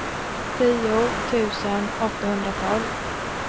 tio tusen åttahundratolv